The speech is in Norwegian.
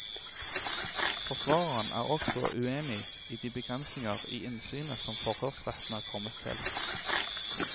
Forsvareren er også uenig i de begrensninger i innsynet som forhørsretten er kommet til.